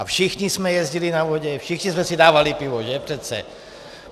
A všichni jsme jezdili na vodě, všichni jsme si dávali pivo, že, přece?